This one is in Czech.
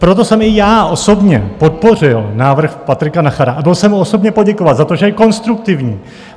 Proto jsem i já osobně podpořil návrh Patrika Nachera a byl jsem mu osobně poděkovat za to, že je konstruktivní.